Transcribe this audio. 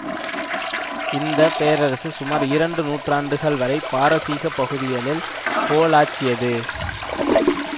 இந்த பேரரசு சுமார் இரண்டு நூற்றாண்டுகள் வரை பாரசீக பகுதிகளில் கோலோச்சியது